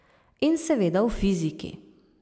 In seveda v fiziki.